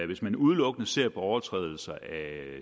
hvis man udelukkende ser på overtrædelser af